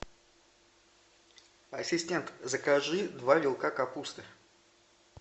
ассистент закажи два вилка капусты